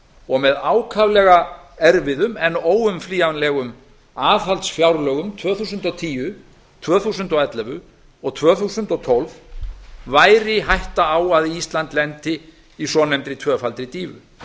og með ákaflega erfiða en óumflýjanlegum aðhaldsfjárlögum tvö þúsund og tíu tvö þúsund og ellefu og tvö þúsund og tólf væri hætta að ísland lendi í svonefndri tvöfaldri dýfu